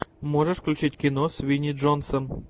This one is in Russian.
можешь включить кино с винни джонсом